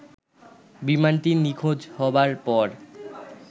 বিমানটি নিখোঁজ হবার পর